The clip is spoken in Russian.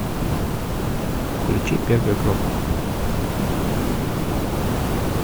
включи первую кнопку